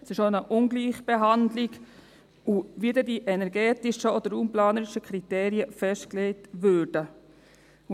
Es ist auch eine Ungleichbehandlung, wie dann diese energetischen oder raumplanerischen Kriterien festgelegt würden.